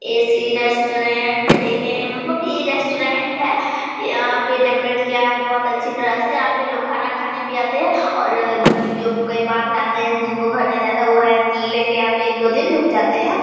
AC. Restaurant ये मतलब ये रेस्टुरेंट है| यहाँ पर डेकोरेट किया है बहुत अच्छी तरीके से ये पर लोग खाना खाने भी आते है और जो कोई बाहर से आते है जिनको घर नहीं रहता है रेंट लेकर एक-दो दिन रुक जाते है।